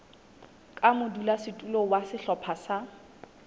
ka modulasetulo wa sehlopha sa